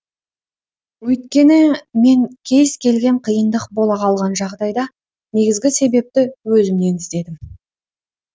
өйткені мен кез келген қиындық бола қалған жағдайда негізгі себепті өзімнен іздедім